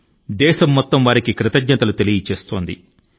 దేశం మొత్తం వారికి గౌరవంగా కృతజ్ఞత తో నివాళులు అర్పిస్తోంది